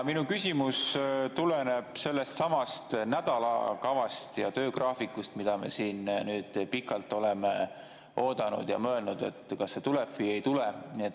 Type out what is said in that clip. Minu küsimus tuleneb sellestsamast nädalakavast ja töögraafikust, mida me siin nüüd pikalt oleme oodanud ja oleme mõelnud, kas see tuleb või ei tule.